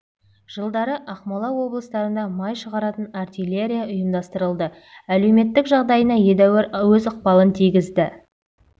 жылдары ақмола облыстарында май шығаратын артиллерия ұйымдастырылды әлеуметтік жағдайына едәуір өз ықпалын тигізді